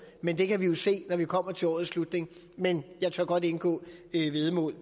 men det kan vi jo se når vi kommer til årets slutning men jeg tør godt indgå et væddemål